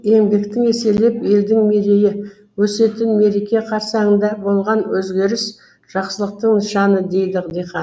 еңбектің еселеп елдің мерейі өсетін мереке қарсаңында болған өзгеріс жақсылықтың нышаны дейді диқан